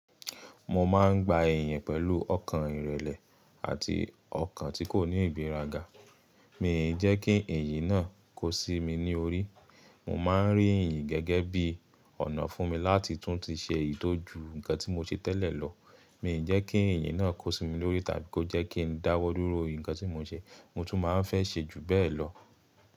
Mo máa ń gba èèyàn pẹ̀lú ọkàn ìrẹ̀lẹ̀ àti ọkàn tí kò ní ìgbéraga. Mi ò jẹ́ kí èyí náà kó sí mi ní orí. Mo máa ń rí ìyìn gẹ́gẹ́ bí ọ̀nà fún mi láti tún ti ṣe ìtọ́jú nǹkan tí mo ṣe tẹ́lẹ̀ lọ. Mi ò jẹ́ kí èyí náà kó sí mi lórí tàbí kó jẹ́ kí n dáwọ́ dúró ìnǹkan tí mo ṣe. Mo tún máa ń fẹ́ ṣe ju bẹ́ẹ̀ lọ.